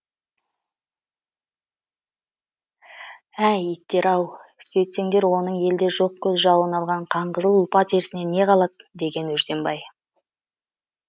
әй иттер ау сөйтсеңдер оның елде жоқ көз жауын алған қанқызыл ұлпа терісінен не қалады деген өжденбай